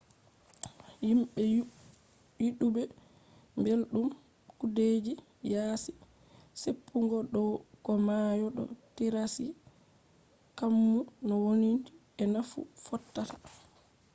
himɓe yiduɓe belɗum kudeji yaasi seppugo dow ko mayo to tirassi kammu no wondi e naffu fotta